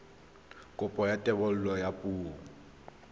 kopo ya thebolo ya poo